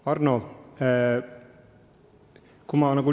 Hea Arno!